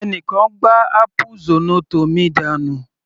Ẹni kan gbá áápù zornoto mi dànù.